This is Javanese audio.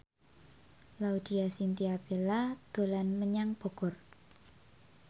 Laudya Chintya Bella dolan menyang Bogor